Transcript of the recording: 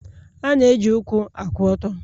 A na-eji ụkwụ akwụ ọtọ